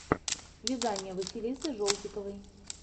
вязание василисы жолтиковой